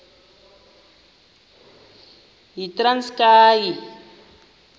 yitranskayi